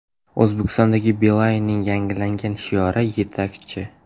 O‘zbekistondagi Beeline’ning yangilangan shiori – Yetakchi!